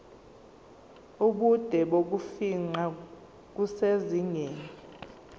ubude bokufingqa kusezingeni